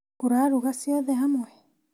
Ũraruga ciothe hamwe?